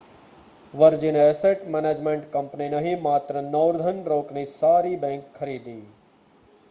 વર્જિને asset management company નહીં માત્ર Northern રોકની સારી બેંક' ખરીદી